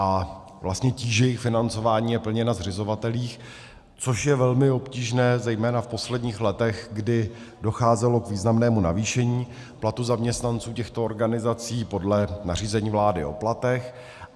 A vlastně tíže jejich financování je plně na zřizovatelích, což je velmi obtížné zejména v posledních letech, kdy docházelo k významnému navýšení platů zaměstnanců těchto organizací podle nařízení vlády o platech.